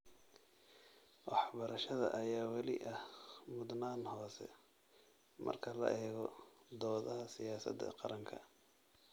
Waxbarashada ayaa weli ah mudnaan hoose marka la eego doodaha siyaasadda qaranka.